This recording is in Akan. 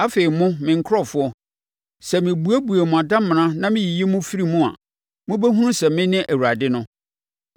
Afei mo, me nkurɔfoɔ, sɛ mebuebue mo adamena na meyiyi mo firi mu a, mobɛhunu sɛ mene Awurade no.